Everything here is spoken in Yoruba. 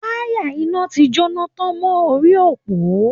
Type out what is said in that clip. Wáyà iná ti jóná tán mọ́ orí òpó